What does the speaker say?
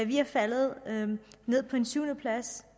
vi er faldet ned på en syvende plads